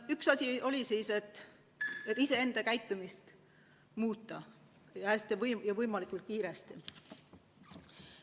Üks abinõu ongi iseenda käitumist muuta ja teha seda võimalikult kiiresti.